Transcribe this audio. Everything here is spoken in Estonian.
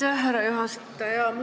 Aitäh, härra juhataja!